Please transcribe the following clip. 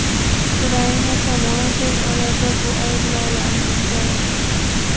Ukraina tomoni tez orada bu ayblovlarni inkor etdi .